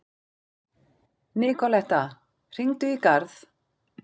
Nikoletta, hringdu í Garð.